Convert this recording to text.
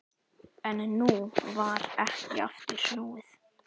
En nú var ekki aftur snúið.